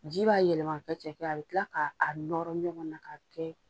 Ji b'a yɛlɛma k'a kɛ cɛkɛ ye a bɛ tila k'a nɔrɔ ɲɔgɔn na k'a kɛ